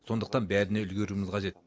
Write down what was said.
сондықтан бәріне үлгеруіміз қажет